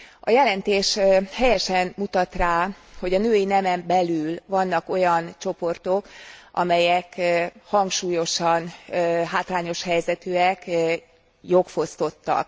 A jelentés helyesen mutat rá, hogy a női nemen belül vannak olyan csoportok, amelyek hangsúlyosan hátrányos helyzetűek, jogfosztottak.